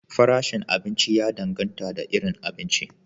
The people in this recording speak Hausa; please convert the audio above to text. Farashin abinci ya dangata da irin abinci.